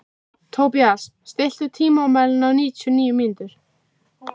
Tobías, stilltu tímamælinn á níutíu og níu mínútur.